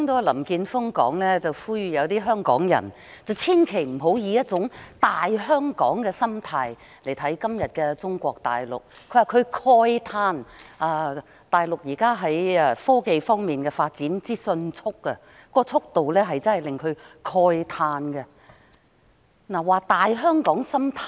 林健鋒議員剛才呼籲港人不要以"大香港"的心態看待今天的中國大陸，又指大陸在科技發展方面速度之快，令他慨嘆不已。